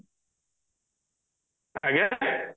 ଆଜ୍ଞା